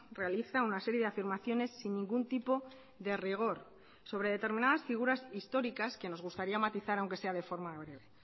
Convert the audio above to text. realiza una serie de afirmaciones sin ningún tipo de rigor sobre determinadas figuras históricas que nos gustaría matizar aunque sea de forma breve